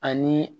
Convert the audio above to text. Ani